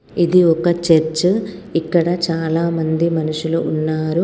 ఇది ఒక చర్చ్ . ఇక్కడ చాలామంది మనుషులు ఉన్నారు.